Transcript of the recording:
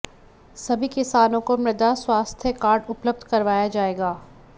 सभी किसानों को मृदा स्वास्थ्य कार्ड उपलब्ध करवाया जायेगा